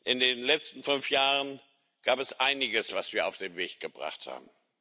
In den letzten fünf Jahren gab es einiges, was wir auf den Weg gebracht haben.